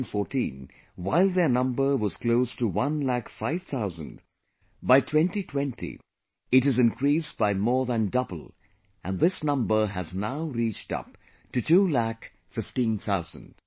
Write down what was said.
In 2014, while their number was close to 1 lakh 5 thousand, by 2020 it has increased by more than double and this number has now reached up to 2 lakh 15 thousand